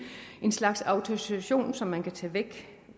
en slags autorisation som man kan tage væk